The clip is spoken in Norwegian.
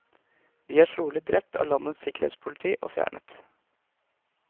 De er trolig drept av landets sikkerhetspoliti og fjernet.